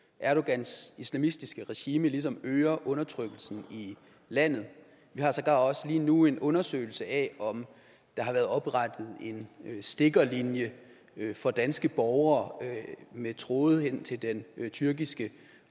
at erdogans islamistiske regime ligesom øger undertrykkelsen i landet vi har sågar også lige nu en undersøgelse af om der har været oprettet en stikkerlinje for danske borgere med tråde ind i den tyrkiske